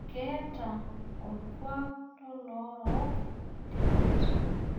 Keeta olkuak lolorook tipat